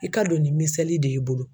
I ka dɔn ni misali de ye i bolo.